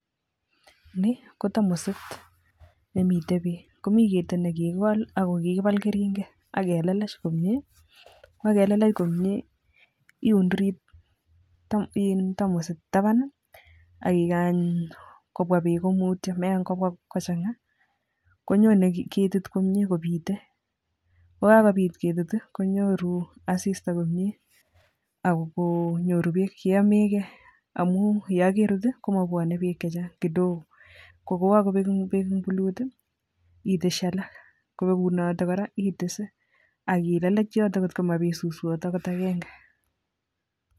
Ni ko tamosit nemiten beek, komi ketit nekikigol ak kokigibal kering'et ak kelelech komie, iunduri tamosit taban i ak ikany kobwa beek komutyo meng'obwa kochang'a, konyone ketit komye kobite, yekakobit ketit i konyoru asista komyee ak konyoru beek cheyomege amun yegorut i komwobwone beek chechang, kidogo [sc]koyekokobek beek en kibuyut etesyi alak, kobegunote kora etese ak elelech yoton kotkomabit suswot akot ag'eng'e.